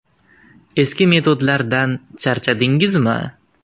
Eski metodlardan charchadingizmi?